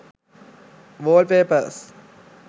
wall papers